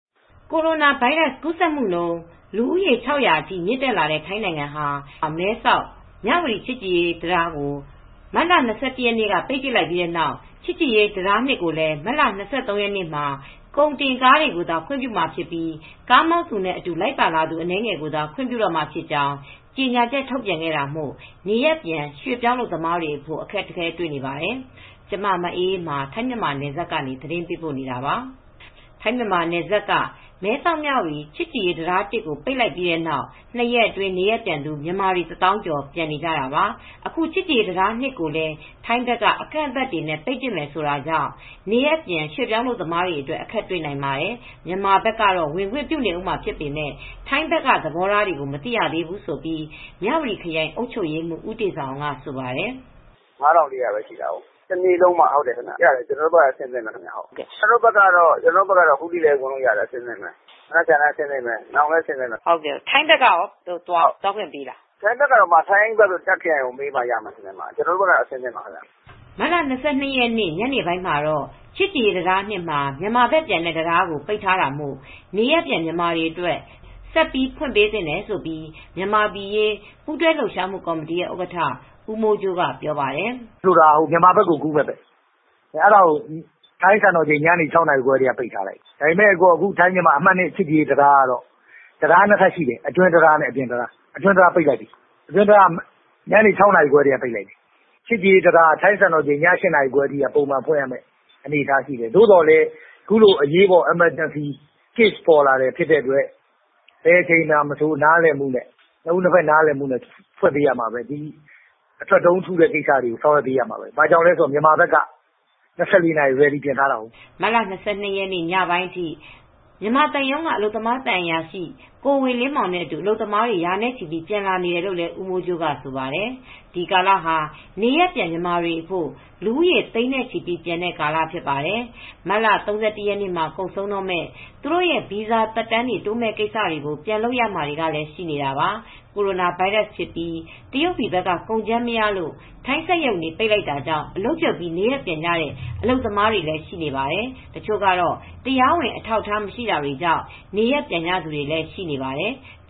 ကိုရိုနာဗိုင်းရပ်စ်ပိုး ကူးစက်ခံရသူပေါင်း ၆၀၀ ထိ မြင့်တက်လာတဲ့ ထိုင်းနိုင်ငံမှာ မြန်မာနဲ့ နယ်စပ်အဝင်အထွက်တွေကို ကန့်သတ်ထိန်းချုပ်လိုက်ပြီးနောက် မဲဆောက်-မြဝတီ ချစ်ကြည်ရေးတံတား အမှတ် ၁ ကို ပိတ်ခဲ့ပြီး အခု အမှတ် ၂ ကိုလည်း မတ်လ ၂၃ ရက်ကစပြီး ကုန်တင်ကားတွေကိုသာ ခွင့်ပြုတော့မှာဖြစ်ပါတယ်။ ဒါကြောင့် ထိုင်းရောက် မြန်မာရွှေ့ပြောင်းအလုပ်သမားတွေ နေရပ်ပြန်ရေး အခက်အခဲတွေ ရင်ဆိုင်နေရတဲ့ နောက်ဆုံးအခြေအနေကို ဗွီအိုအေ မြန်မာပိုင်းသတင်းထောက် မအေးအေးမာက သတင်းပေးပို့ထားပါတယ်။ ထိုင်း-မြန်မာနယ်စပ်က မဲဆောက်-မြဝတီ ချစ်ကြည်ရေးတံတား ၁ ကို ပိတ်ပစ်လိုက်ပြီးတဲ့နောက် ၂ ရက်အတွင်း နေရပ်ပြန်မြန်မာတွေ တသောင်းကျော် ပြန်နေကြတာပါ။ အခု ချစ်ကြည်ရေးတံတား ၂ ကိုလည်း ထိုင်းဘက်က အကန့်အသတ်တွေနဲ့ ပိတ်ပစ်မယ်ဆိုတာကြောင့် နေရပ်ပြန် မြန်မာရွှေ့ပြောင်းအလုပ်သမားတွေအတွက် အခက်တွေ့နိုင်ပါတယ်။ မြန်မာဘက်ကတော့ ဝင်ခွင့်ပြုနေဦးမှာဖြစ်ပေမယ့် ထိုင်းဘက်က သဘောထားကို မသိရသေးဘူးလို့ မြဝတီခရိုင် အုပ်ချုပ်ရေးမှူး ဦးတေဇာအောင်က ဆိုပါတယ်။ “ကျနော်တို့ဆီ အဝင်မှာတော့ ၅၄၀၀ ရှိတယ်။ တနေ့လုံးပါ။ ကျနော်တို့ဆီက အခုထိလည်း ဝင်ခွင့်ပြုနေတယ်၊ နောက်လည်း ဝင်ခွင့်ပြုဦးမှာပဲ။ မနက်ဖြန်လည်း အဆင်သင့်ပဲ၊ နောင်လည်း အဆင့်သင့်ပဲ။” မအေးအေးမာ - ထိုင်းဘက်ကရော သွားခွင့်ပြုလားရှင့်။ ဦးတေဇာအောင် - “ထိုင်းဘက်ကတော့ ထိုင်းဘက်ကိုမေးမှ ရပါမယ်။ ကျနော်တို့ဘက်ကတော့ အဆင်သင့်ပါပဲ။” မတ်လ ၂၂ ရက် ညနေပိုင်းမှာတော့ ချစ်ကြည်ရေးတံတား ၂ မှာ မြန်မာဘက်ပြန်တဲ့တံတားကို ပိတ်ထားတာမို့ နေရပ်ပြန်မြန်မာတွေအတွက် ဆက်ပြီး ဖွင့်ပေးသင့်တယ်လို့ မြန်မာပြည်အရေး ပူးတွဲလှုပ်ရှားမှုကော်မတီ ဥက္ကဋ္ဌ ဦးမိုးကြိုးက ဆိုပါတယ်။ “မဲဆောက်-မြဝတီ အမှတ် ၂ ချစ်ကြည်ရေးတံတားက တံတား ၂ ထပ်ရှိတယ်။ အဲဒါက အတွင်းတံတားကိုတော့ ညနေ ၆ နာရီခွဲကတည်းက ပိတ်လိုက်တယ်။ မြန်မာဘက်ဝင်တဲ့ တံတားကိုတော့ ညနေ ၆ နာရီခွဲကတည်းက ပိတ်ထားပါတယ်။ ချစ်ကြည်ရေးတံတားကတော့ ည ၈ နာရီအထိ ပုံမှန်ဖွင့်ရမယ့် အနေအထားပဲ။ အခုလို အရေးပေါ်ကာလမှာတော့ နှစ်ဦးနှစ်ဖက် နားလည်မှုနဲ့ ဖွင့်ပေးရမှာပဲ။ အထွက်ဗီဇာတုံး ထုတာတွေ ဆောင်ရွက်ပေးရမှာပဲ။ မြန်မာဘက်ကတော့ ၂၄ နာရီအထိ ဖွင့်ပေးထားပါတယ်။” မတ်လ ၂၂ ရက် ညပိုင်းအထိ မြန်မာသံရုံးက အလုပ်သမား သံအရာရှိ ကိုဝေလင်းမောင်နဲ့အတူ အလုပ်သမားတွေ ရာနဲ့ချီပြီး ပြန်လာနေကြောင်း ဦးမိုးကြိုးက ဆိုပါတယ်။ ဒီကာလဟာ နေရပ်ပြန်မြန်မာတွေအဖို့ လူဦးရေ သိန်းနဲ့ချီ ပြန်တဲ့ကာလ ဖြစ်ပါတယ်။ မတ်လ ၃၁ ရက်မှာ ကုန်ဆုံးမယ့် သူတို့ရဲ့ ဗီဇာသက်တမ်းတွေ တိုးမယ့်ကိစ္စတွေကို ပြန်လုပ်ရမှာတွေလည်း ရှိနေတာပါ။ ကိုရိုနာဗိုင်းရပ်စ်ဖြစ်ပြီး တရုတ်ပြည်ဘက်က ကုန်ကြမ်းမရလို့ ထိုင်းစက်ရုံတွေ ပိတ်တာကြောင့် အလုပ်ပြုတ်ပြီး နေရပ်ပြန်ကြတဲ့ အလုပ်သမားတွေလည်း ရှိနေတာပါ။ တချို့ကတော့ တရားဝင် အထောက်အထား မရှိတာကြောင့် ပြန်နေကြသူတွေလည်း ရှိပါတယ်။